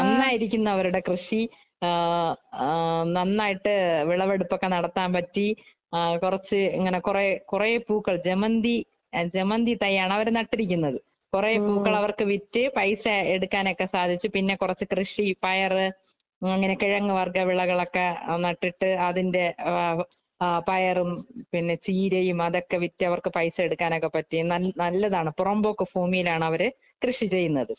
നന്നായിരിക്കുന്നു അവരുടെ കൃഷി ആ നന്നായിട്ട് വിളവെടുപ്പോക്കെ നടത്താന്‍ പറ്റി. കൊറച്ചു ഇങ്ങനെ കൊറേ കൊറേ പൂക്കള്‍ ജമന്തി ജമന്തി തൈയാണ്‌ അവര് നട്ടിരിക്കുന്നത്.കൊറേ പൂക്കള്‍ അവര്‍ക്ക് വിറ്റ് പൈസ എടുക്കാനോക്കെ സാധിച്ചു. പിന്നെ കൊറച്ചു കൃഷിയും, പയറ് , അങ്ങനെ കെഴങ്ങ് വര്‍ഗ വിളകളൊക്കെ നട്ടിട്ടു അതിന്‍റെ പയറും, പിന്നെ ചീരയും അതൊക്കെ വിറ്റ് അവര്‍ക്ക് പൈസ എടുക്കനോക്കെ പറ്റി. നല്ലതാണ്. പുറമ്പോക്ക് ഭൂമിയിലാണ് അവര് കൃഷി ചെയ്യുന്നത്.